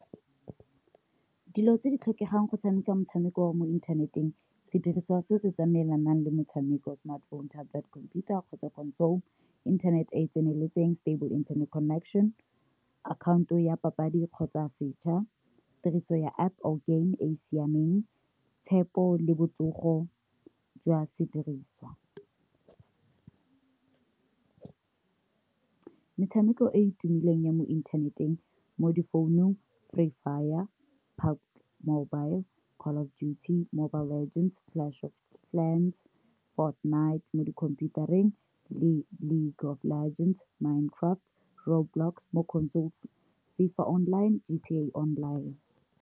Dilo tse di tlhokegang go tshameka motshameko wa mo inthaneteng sedirisiwa se se tsamaelanang le motshameko smartphone, Tablet, computer kgotsa console, internet e e tseneletseng stable internet connection, akhaonto ya papadi kgotsa setšha, tiriso ya App or game e e siameng, tshepo le botsogo jwa sediriswa. Metshameko e e tumileng ya mo inthaneteng mo di-founung, Free fire, Pac mobile Call of duty, Mobile Legends, Clash of Clans, Fortnite mo di-khomphutareng le le League of legends, Minecraft le Roadblocks mo console, FIFA online, G_T_A online.